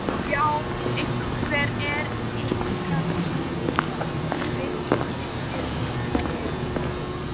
Já, hvernig er ykkar dúfa? vill Kiddi líka vita.